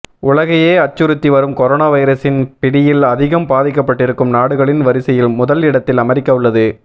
உலகையே அச்சுறுத்தி வரும் கொரோனா வைரஸின் பிடியில் அதிகம் பாதிக்கப்பட்டிருக்கும் நாடுகளின் வரிசையில் முதல் இடத்தில் அமெரிக்கா உள்ளது